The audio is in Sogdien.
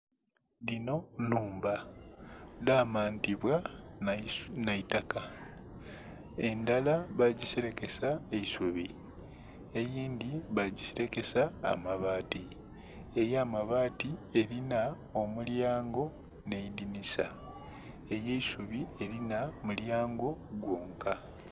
Dhinho nhumba, dhamantibwa nheitaka, endhala bagisele kesa eisubi eidhi bagi sele kesa amabaati, eya mabaati elinha omulyango nheidhinisa, ey'eisubi elinha omulyango gwonka.